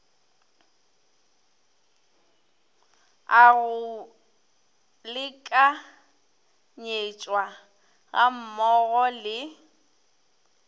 a go lekanyetšwa gammogo le